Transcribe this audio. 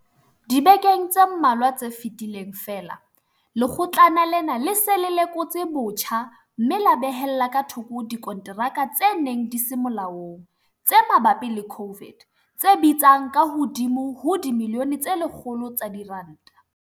Dibekeng tse mmalwa tse fetileng feela, Lekgotlana lena le se le lekotse botjha mme la behella ka thoko dikonteraka tse neng di se molaong tse mabapi le COVID tse bitsang ka hodimo ho dimilione tse 100 tsa diranta.